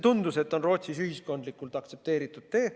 Tundus, et see on Rootsis ühiskondlikult aktsepteeritud tee.